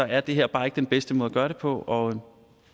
er det her bare ikke den bedste måde at gøre det på og